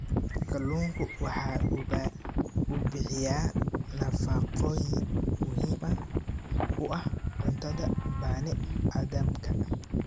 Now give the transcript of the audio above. Kalluunku waxa uu bixiyaa nafaqooyin muhiim u ah cuntada bani aadamka.